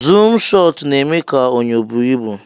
zoom shọt na eme ka onyo bụọ ibu.